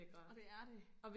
Og det er de